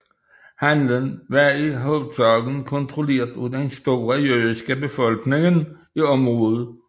Handelen var i hovedsagen kontrolleret af den store jødiske befolkning i området